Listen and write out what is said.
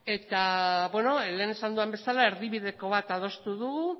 eta beno lehen esan dudan bezala erdibideko bat adostu dugu